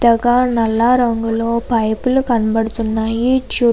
ఒక నల్ల రంగులో పైపులు కనపడుతున్నాయి చూడ --